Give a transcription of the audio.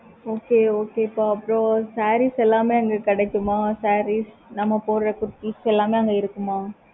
okay okay அப்பறம் sarees எல்லாமே அங்க கிடைக்குமா? sarees நம்ம போடுற எல்லாமே அங்க இருக்குமா?